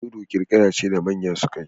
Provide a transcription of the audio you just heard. Dodo kirkira ce da manya suke yi